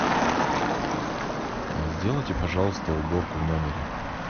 сделайте пожалуйста уборку в номере